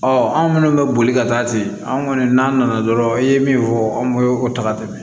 Ɔ anw minnu bɛ boli ka taa ten anw kɔni n'an nana dɔrɔnw e ye min fɔ anw ye o ta ka tɛmɛ